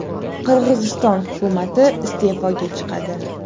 Qirg‘iziston hukumati iste’foga chiqadi.